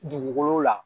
Dugukolo la